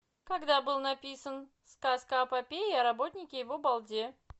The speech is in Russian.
когда был написан сказка о попе и о работнике его балде